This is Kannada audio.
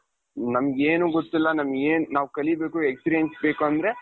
ನಮಗೇನೂ ಗೊತ್ತಿಲ್ಲ ನಮ್ಗೆ ಏನು ನಾವು ಕಲಿಬೇಕು experience ಬೇಕು ಅಂದ್ರೆ,